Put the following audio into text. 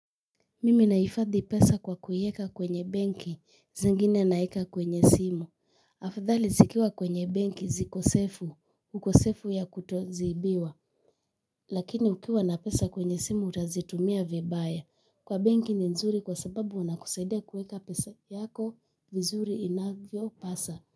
Mimi naifadhi pesa kwa kuieka kwenye benki zingine naeka kwenye simu. Afadhali zikiwa kwenye benki ziko sefu, ukosefu ya kutoziibiwa. Lakini ukiwa na pesa kwenye simu utazitumia vibaya. Kwa banki ni nzuri kwa sababu wana kusaidia kueka pesa yako vizuri inavyo paswa.